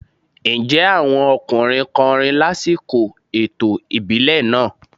Ǹjẹ́ àwọn ọkùnrin kọrin lásìkò ètò ìbílẹ̀ náà?